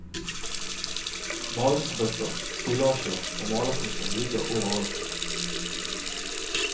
Malingsbøtter, stilasjer og malerkoster ligger overalt.